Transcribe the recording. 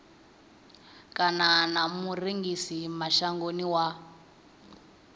kana na murengisi mashangoni wa